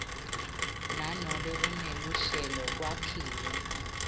nanobe kuneluhlelo kwakhiwe